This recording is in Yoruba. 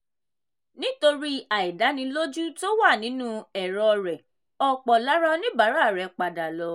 nítorí àìdánilójú tó wà nínú ẹ̀rọ rẹ̀ ọ̀pọ̀ lára oníbàárà rẹ̀ padà lọ.